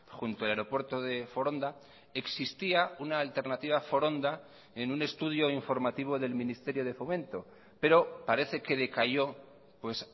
junto al aeropuerto de foronda existía una alternativa a foronda en un estudio informativo del ministerio de fomento pero parece que decayó pues